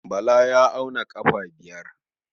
Bala ya auna ƙafa biyar.